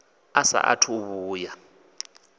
a saathu u vhuya a